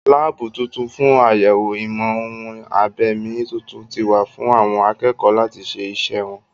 Láàbù tuntun fún àyèwò ìmọ̀-ohun-abẹ̀mí tuntun ti wà fún àwọn akẹ́kọ̀ọ́ láti ṣe iṣẹ́ wọn